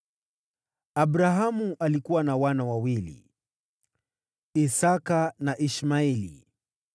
Abrahamu alikuwa na wana wawili: Isaki na Ishmaeli.